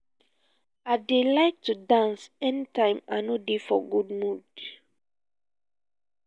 i dey like to dance anytime i no dey for good mood